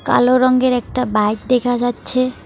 কালো রঙ্গের একটা বাইক দেখা যাচ্ছে।